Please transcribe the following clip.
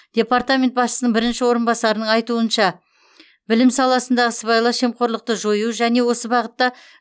департамент басшысының бірінші орынбасарының айтуынша білім саласындағы сыбайлас жемқорлықты жою және осы бағытта